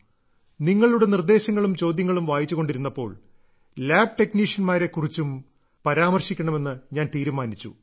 നിങ്ങളുടെ നിർദ്ദേശങ്ങളും ചോദ്യങ്ങളും വായിച്ചുകൊണ്ടിരുന്നപ്പോൾ ലാബ്െടക്നീഷ്യന്മാരെ കുറിച്ചും പരാമർശിക്കണമെന്ന് ഞാൻ തീരുമാനിച്ചു